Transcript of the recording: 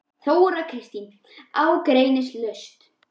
Þóra Kristín: Ágreiningslaust?